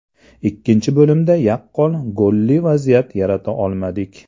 Ikkinchi bo‘limda yaqqol golli vaziyat yarata olmadik.